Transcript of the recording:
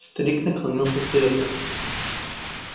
старик наклонился вперёд